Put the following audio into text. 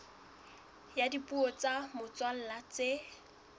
ya dipuo tsa motswalla tse